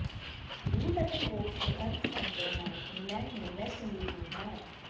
route ਅਤੇ Woakes ਦੇ ਅਰਧ ਸੈਂਕੜਿਆਂ ਨਾਲ ਇੰਗਲੈਂਡ ਨੇ ਵੈਸਟ ਇੰਡੀਜ਼ ਨੂੰ ਹਰਾਇਆ